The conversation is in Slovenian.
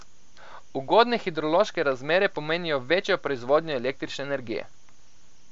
Ugodne hidrološke razmere pomenijo večjo proizvodnjo električne energije.